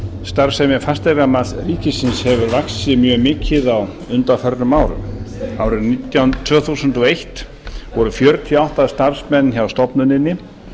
starfsemi fasteignamats ríkisins hefur vaxið mjög mikið á undanförnum árum á árinu tvö þúsund og eitt voru fjörutíu og átta starfsmenn hjá stofnuninni